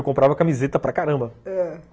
Eu comprava camiseta para caramba, ãh.